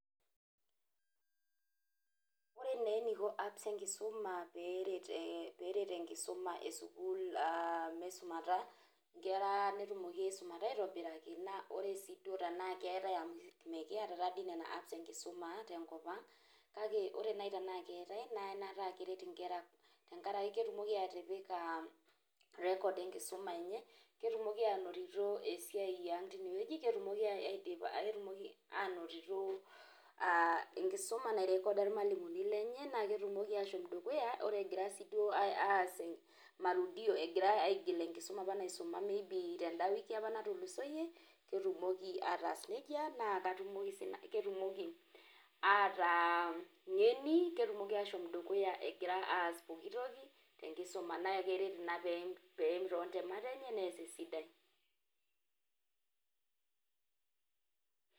ore naa eneiko apps enkisuma, pee eret enkisuma esukuul meisumata, inkera netumoki aisumata aitobiraki, ore sii duo tenaa keetae, amu mmikiata taa dii nena apps enkisuma te nkop ang' kake ore naaji tenaa keetae naa anaata aa keret inkera tenkaraki ketumoki atipika record enkisuma enye, ketumoki aanotito esiai yiang teineweuji ketumoki, ketumoki aanotito enkisuma nairecorda irmalimuni lenye. naa ketumoki aashom dukuya, ore eira sii duo aas marudio, egira aas enkisuma apa naisuma teda wiki apa natulusoyie, ketumoki ataasa nejia naa katumoki sii nanu ,ataa ng'eni, ketumoki ataas poki tokinaa keret ina pee eim intemat enye, nees esidai.